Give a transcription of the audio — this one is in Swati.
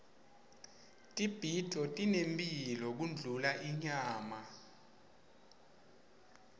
tibhidvo tinemphilo kundlula inyama